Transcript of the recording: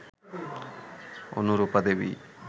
Anurupa Devi